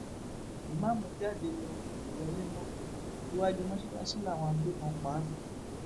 ìmáàmù jáde ló kó wọlé mọ iwájú mọṣáláṣí làwọn agbébọn pa á sí